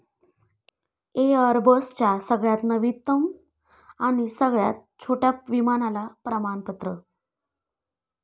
एअरबसच्या सगळ्याच नवीनतम आणि सगळ्यात छोट्या विमानाला प्रमणापत्र